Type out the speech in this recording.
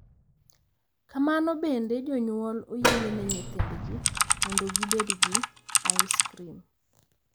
Kamano bende, jonyuol oyiene nyithindgi mondo gibed gi ais krim.